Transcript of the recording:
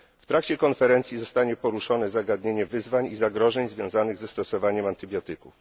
W trakcie konferencji zostanie poruszone zagadnienie wyzwań i zagrożeń związanych ze stosowaniem antybiotyków.